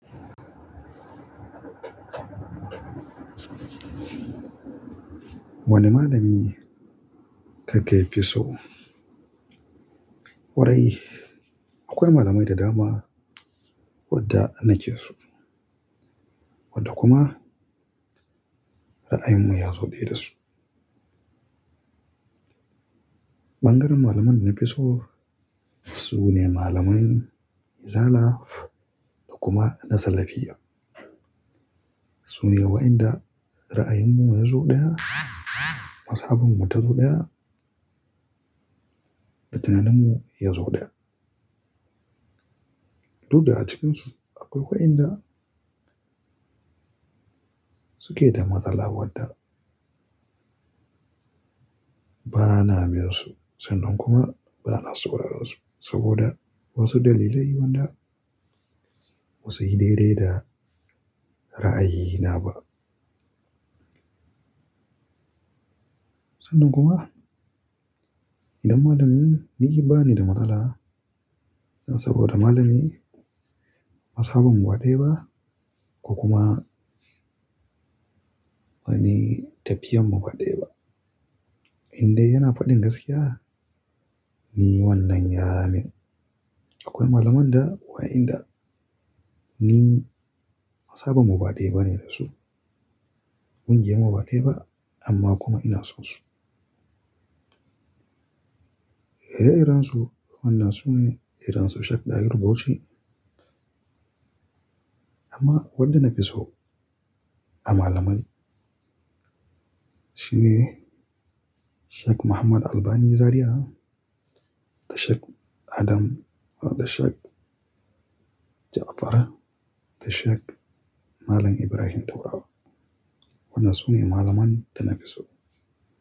Wani malami kake fi so? Kwarai akwai malamai da dama wadda nakeso wadda kuma ra'ayinmu ya zo ɗaya da su. Ɓangaren malaman da na fi so sune malamai izala da kuma na salafiyya. Sune waɗanda ra'ayinmu ya zo ɗaya, mazhabinmu ta zo ɗaya, batinanmu ya zo ɗaya. Du da a cikinsu akwai waɗanda suke da matsala wadda ba na miyon su sannan kuma ba na sauraron su saboda wasu dalilai wanda ba su yi daidai da ra'ayina ba. Sannan kuma idan malami ni ke bani da matsala saboda malami mazhabinmu baɗaya ba ko kuma wani tafiyanmu ba ɗaya ba, indai yana faɗin gaskiya ni wannan ya min. Akwai malamai da waɗanda ni mazhabinmu baɗaya ba ne da su, kungiyarmu baɗi ba amma kuma ina son su. Ire irensu wannan sune irinsu Sheikh Dahiru Bauchi. Amma waɗanda na fi so a malamai shine Sheikh Muhammad Albani Zaria da Sheikh Adam da Sheikh Ja'far da Sheikh Malam Ibrahim daurawa. Wannan su ne malaman da na fi so.